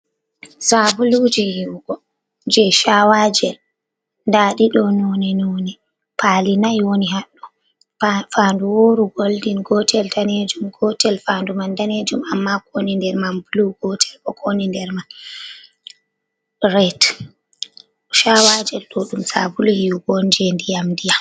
Saabuluuje yiiwugo jey 'caawaajel" ndaa ɗi ɗoo noone-noone. Paali nay woni haɗɗo, faandu wooru "goldin" gootel daneejum, gootel faandu man daneejum ammaa ko woni nder man "bluu". Gootel bo ko woni nder man "red". Caawaajel ɗo ɗum saabulu yiiwugon jey ndiyam-ndiyam.